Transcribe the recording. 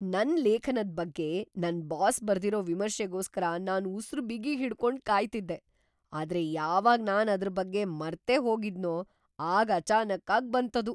ನನ್ ಲೇಖನದ್ ಬಗ್ಗೆ ನನ್‌ ಬಾಸ್ ಬರ್ದಿರೋ ವಿಮರ್ಶೆಗೋಸ್ಕರ ನಾನ್‌ ಉಸ್ರು ಬಿಗಿಹಿಡ್ಕೊಂಡ್‌ ಕಾಯ್ತಿದ್ದೆ. ಆದ್ರೆ ಯಾವಾಗ್‌‌ ನಾನ್‌ ಅದ್ರ್‌ ಬಗ್ಗೆ ಮರ್ತೇಹೋಗಿದ್ನೋ ಆಗ ಅಚಾನಕ್ಕಾಗ್‌ ಬಂತದು!